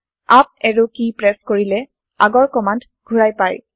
up arrow press কৰিলে আগৰ command ঘূৰাই পাই